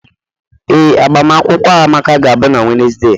Ee Amaka agbamakwụkwọ na-na Wednesday.